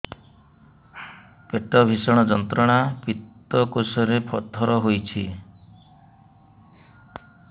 ପେଟ ଭୀଷଣ ଯନ୍ତ୍ରଣା ପିତକୋଷ ରେ ପଥର ହେଇଚି